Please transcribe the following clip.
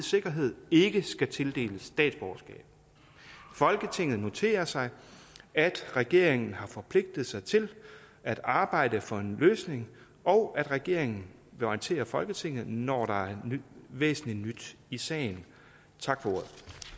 sikkerhed ikke skal tildeles dansk statsborgerskab folketinget noterer sig at regeringen har forpligtet sig til at arbejde for en løsning og at regeringen vil orientere folketinget når der er væsentlig nyt i sagen tak for ordet